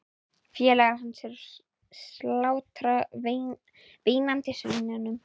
Félagar hans eru að slátra veinandi svínunum.